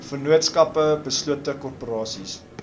vennootskappe beslote korporasies